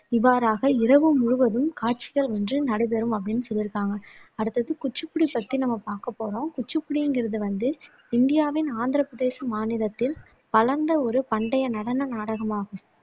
இவ்வாறாக இரவு முழுவதும் காட்சிகள் வந்து நடைபெறும் அப்படின்னு சொல்லியிருக்காங்க அடுத்தது குச்சிப்புடி பத்தி நம்ம பார்க்கப்போறம் குச்சிப்புடியில் இருந்து வந்து இந்தியாவின் ஆந்திரப் பிரதேச மாநிலத்தில் வளர்ந்த ஒரு பண்டைய நடன நாடகமாகும்